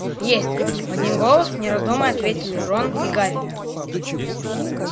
есть в один голос не раздумывая ответили рон и гарри